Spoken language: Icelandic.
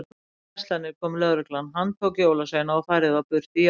Í fimm verslanir kom lögreglan, handtók jólasveina og færði þá burt í járnum.